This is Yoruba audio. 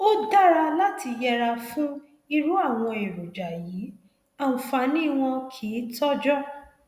ó dára láti yẹra fún irú àwọn èròjà yìí àǹfààní wọn kìí tọjọ